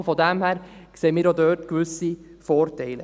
Daher sehen wir auch dort gewisse Vorteile.